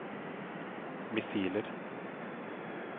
missiler